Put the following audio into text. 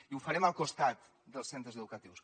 i ho farem al costat dels centres educatius